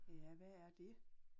Ja hvad er dét?